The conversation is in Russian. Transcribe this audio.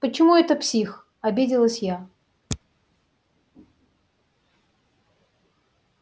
почему это псих обиделась я